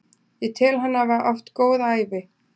Ég tel hann hafa átt góða ævi.